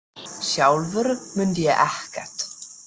Sjálfur mundi ég ekkert.